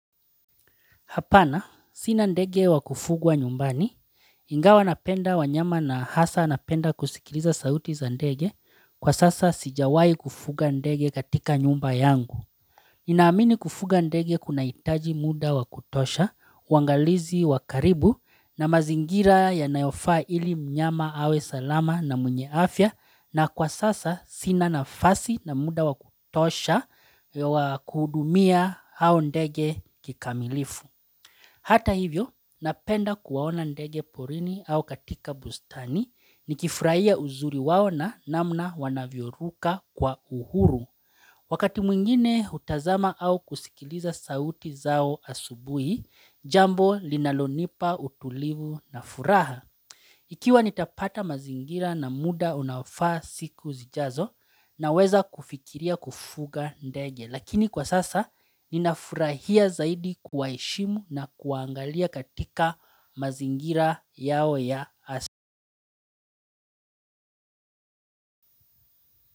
Hapana, sina ndege wakufungwa nyumbani, ingawa napenda wanyama na hasa napenda kusikiliza sauti za ndege, kwa sasa sijawahi kufunga ndege katika nyumba yangu. Nina amini kufuga ndege kunahitaji mda wakutosha, uangalizi wa karibu na mazingira yanayofaa, ili mnyama awe salama na mwenye afya na kwa sasa sina nafasi na mda wakutosha wakuhudumia hao ndege kikamilifu. Hata hivyo, napenda kuwaona ndege porini au katika bustani ni kifurahia uzuri wao na namna wanavyoruka kwa uhuru. Wakati mwingine hutazama au kusikiliza sauti zao asubuhi, jambo linalonipa utulivu na furaha. Ikiwa nitapata mazingira na muda unaofaa siku zijazo naweza kufikiria kufunga ndege, lakini kwa sasa ninafurahia zaidi kuwaheshimu na kuwa angalia katika mazingira yao ya asi.